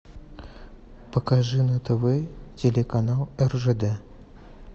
покажи на тв телеканал ржд